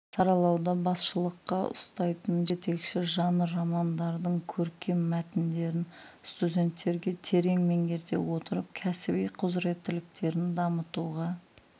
саралауда басшылыққа ұстайтын жетекші жанр романдардың көркем мәтіндерін студенттерге терең меңгерте отырып кәсіби құзыреттіліктерін дамытуға